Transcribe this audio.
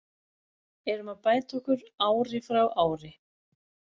Erum að bæta okkur ári frá ári.